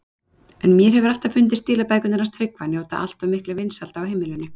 En mér hefur alltaf fundist stílabækurnar hans Tryggva njóta alltof mikilla vinsælda á heimilinu.